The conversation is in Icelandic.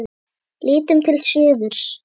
Lítum til suðurs.